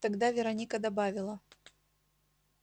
тогда вероника добавила